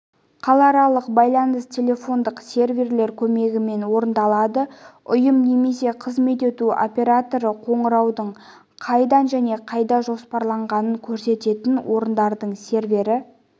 қалааралық байланыс телефондық серверлер көмегімен орындалады ұйым немесе қызмет ету операторы қоңыраудың қайдан және қайда жоспарланғанын көрсететін орындардың сервері